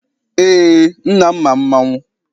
Eé, nna m ma mmanwụ.